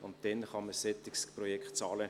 Und dann kann man ein solches Projekt bezahlen.